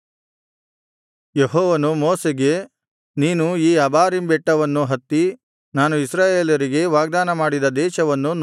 ಯೆಹೋವನು ಮೋಶೆಗೆ ನೀನು ಈ ಅಬಾರೀಮ್ ಬೆಟ್ಟವನ್ನು ಹತ್ತಿ ನಾನು ಇಸ್ರಾಯೇಲರಿಗೆ ವಾಗ್ದಾನಮಾಡಿದ ದೇಶವನ್ನು ನೋಡು